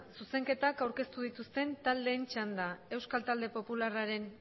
zuzenketak aurkeztu dituzten taldeen txanda euskal talde popularraren